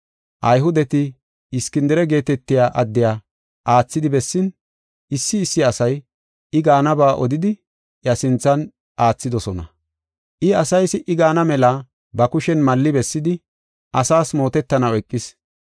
Ayhudeti Iskindire geetetiya addiya aathidi bessin, issi issi asay I gaanaba odidi iya sinthe aathidosona. I asay si77i gaana mela ba kushen malli bessidi, asaas mootetanaw eqis.